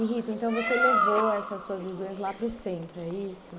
E Rita, então você levou essas suas visões lá para o centro, é isso?